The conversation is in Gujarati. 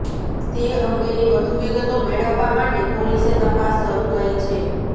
તે અંગેની વધુ વિગતો મેળવવા માટે પોલીસે તપાસ શરૂ કરી છે